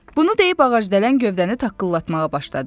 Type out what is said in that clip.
Bunu deyib ağacdələn gövdəni taqqıldatmağa başladı.